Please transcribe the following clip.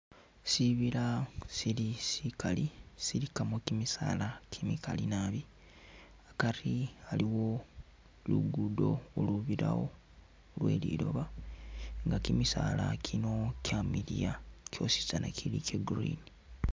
Sibila shili shikali shilikamo kimisaala kimikali naabi hakari haliwo lugudo lubirawo lweliloba nga kimisaala kino kyamiliya kyositsana kyili kya green.